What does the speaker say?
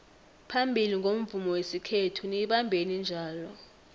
phambili ngomvumo wesikhethu niyibambeni njalo